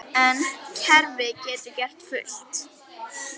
En kerfið getur gert fullt.